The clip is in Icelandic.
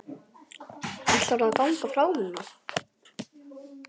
Ætlarðu að ganga frá núna?